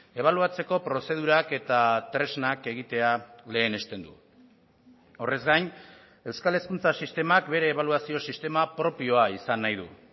ebaluatzeko prozedurak eta tresnak egitea lehenesten du horrez gain euskal hezkuntza sistemak bere ebaluazio sistema propioa izan nahi du